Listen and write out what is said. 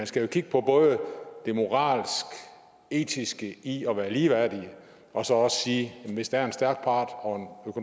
skal kigge på det moralske og etiske i at være ligeværdige og så også sige at hvis der er en økonomisk stærk part og